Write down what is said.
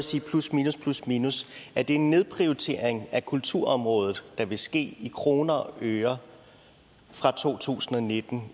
sige plus minus plus minus en nedprioritering af kulturområdet der vil ske i kroner og øre fra 2019